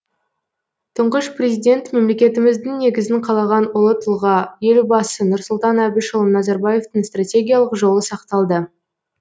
тұңғыш президент мемлекетіміздің негізін қалаған ұлы тұлға елбасы нұрсұлтан әбішұлы назарбаевтың стратегиялық жолы сақталды